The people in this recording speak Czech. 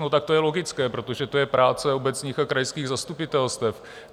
No tak to je logické, protože to je práce obecních a krajských zastupitelstev.